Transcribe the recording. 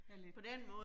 Det er lidt